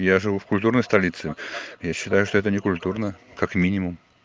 я живу в культурной столице я считаю что это некультурно как минимум